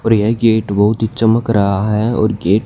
और यह गेट बहुत ही चमक रहा है और गेट --